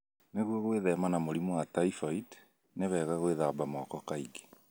Nĩguo gwĩthema na mũrimũ wa typhoid, nĩ wega gwĩthamba moko kaingĩ.